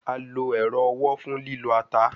A lo ero owo fun lilo ata